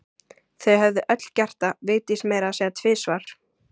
Þau höfðu öll gert það, Vigdís meira að segja tvisvar.